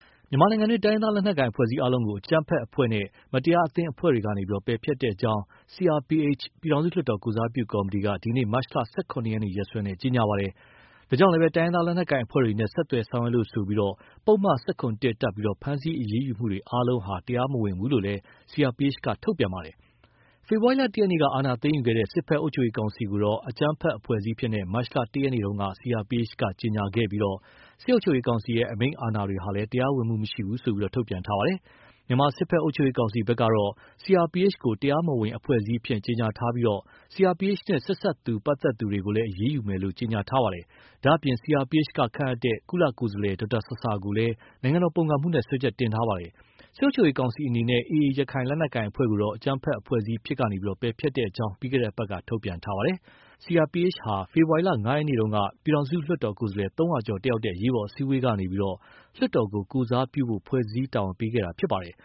မြန်မာနိုင်ငံတွင်း တိုင်းရင်းသားလက်နက်ကိုင်အဖွဲ့အစည်းအားလုံးကို အကြမ်းဖက်အဖွဲ့ မတရားအသင်းအဖွဲ့တွေကနေ ပယ်ဖျက်ကြောင်း CRPH ပြည်ထောင်စုလွှတ်တော်ကိုယ်စားပြုကော်မတီက ဒီကနေ့ မတ်လ ၁၇ ရက်နေ့ ရက်စွဲနဲ့ကြေညာပါတယ်။ ဒါကြောင့်လည်း တိုင်းရင်းသားလက်နက်ကိုင်အဖွဲ့တွေနဲ့ ဆက်သွယ်ဆောင်ရွက်လို့ဆိုပြီး ပုဒ်မ ၁၇(၁) တပ်ပြီး ဖမ်းဆီးအရေးယူမှုတွေအားလုံးဟာ တရားမဝင်ဘူးလို့လည်း CRPH က ထုတ်ပြန်ပါတယ်။ ဖေဖော်ဝါရီလ ၁ ရက်နေ့က အာဏာသိမ်းယူခဲ့တဲ့ စစ်ဘက်အုပ်ချုပ်ရေးကောင်စီကိုတော့ အကြမ်းဖက်အဖွဲ့အစည်းအဖြစ်နဲ့ မတ်လ ၁ ရက်နေ့တုန်းက CRPH က ကြေညာခဲ့ပြီး စစ်အုပ်ချုပ်ရေးကောင်စီရဲ့ အမိန့်အာဏာတွေဟာလည်း တရားဝင်မှုမရှိဘူးလို့ ထုတ်ပြန်ပါတယ်။ မြန်မာစစ်ဘက် အုပ်ချုပ်ရေးကောင်စီဘက်ကတော့ CRPH ကို တရားမဝင်အဖွဲ့အစည်းအဖြစ် ကြေညာထားပြီး CRPH နဲ့ ဆက်စပ်သူ ပတ်သက်သူတွေကိုလည်း အရေးယူမယ်လို့ ကြေညာထားတာပါ။ ဒါ့အပြင် CRPH က ခန့်အပ်တဲ့ ကုလကိုယ်စားလှယ်ဒေါက်တာဆာဆာကိုလည်း နိုင်ငံတော်ပုန်ကန်မှုနဲ့ စွဲချက်တင်ထားပါတယ်။ စစ်အုပ်ချုပ်ရေးကောင်စီအနေနဲ့ AA ရခိုင်လက်နက်ကိုင်အဖွဲ့ကိုတော့ အကြမ်းဖက်အဖွဲ့အစည်းအဖြစ်ကနေ ပယ်ဖျက်ကြောင်း ပြီးခဲ့တဲ့အပတ်က ထုတ်ပြန်ထားပါတယ်။ CRPH ဟာ ဖေဖော်ဝါရီလ ၅ ရက်နေ့တုန်းက ပြည်ထောင်စုလွှတ်တော်ကိုယ်စားလှယ် ၃၀၀ ကျော်တတ်ရောက်တဲ့ အရေးပေါ် အစည်းအဝေးကနေ လွှတ်တော်ကို ကိုယ်စားပြုဖို့ ဖွဲ့စည်းတာဝန်ပေးခဲ့တာဖြစ်ပါတယ်။